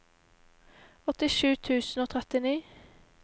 åttisju tusen og trettini